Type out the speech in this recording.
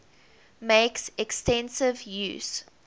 makes extensive use